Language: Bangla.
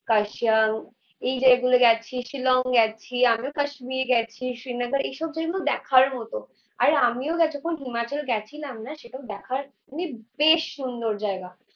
কার্শিয়াং এই যে এগুলো গেছি, শিলং গেছি, আমিও কাশ্মীর গেছি, শ্রীনগর এইসব venue দেখার মতো। আর আমিও হিমাচল গেছিলাম না সেটাও দেখার মানে বেশ সুন্দর জায়গা